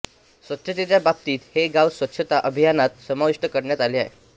स्वच्छेतेच्या बाबतीत हे गाव स्वच्छता अभियानात समाविष्ट करण्यात आले आहे